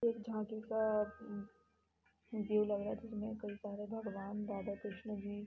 एक जाकी का ये लग रहा है जिसमे कई सारे भगवान राधा कृष्णा जी--